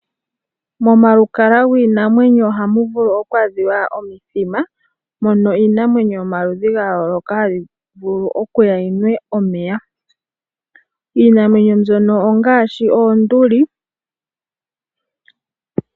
Momalukalwa giinamwenyo ohamu vulu okwaadhiwa omithima mono iinamwenyo yomaludhi ga yooloka hayi vulu okuya yi nwe omeya. Iinamwenyo mbyono ongaashi oonduli.